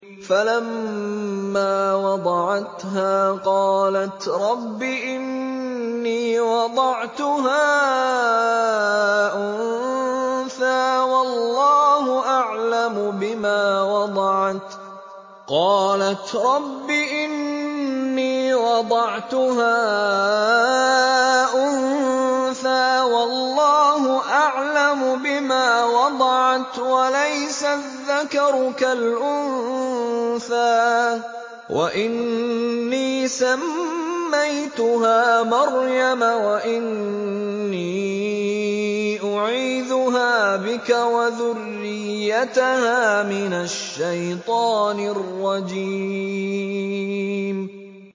فَلَمَّا وَضَعَتْهَا قَالَتْ رَبِّ إِنِّي وَضَعْتُهَا أُنثَىٰ وَاللَّهُ أَعْلَمُ بِمَا وَضَعَتْ وَلَيْسَ الذَّكَرُ كَالْأُنثَىٰ ۖ وَإِنِّي سَمَّيْتُهَا مَرْيَمَ وَإِنِّي أُعِيذُهَا بِكَ وَذُرِّيَّتَهَا مِنَ الشَّيْطَانِ الرَّجِيمِ